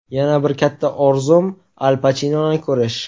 Yana bir katta orzum – Al Pachinoni ko‘rish.